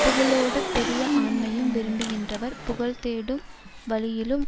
புகழோடு பெரிய ஆண்மையும் விரும்புகின்றவர் புகழ் தோடும் வழியிலும்